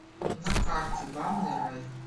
на карте банный рай